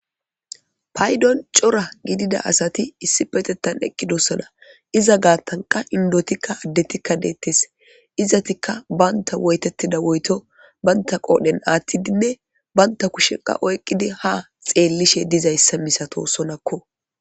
Paydon cora gidida asati issi petettan eqqidossona iza gaatanqa indotikka addetikka deettes izatikka baynta woytettida woyto baynta qoodhen aattidinne baynta kusheqa oyqqidi ha xeellishe dizayssa misato sonakko.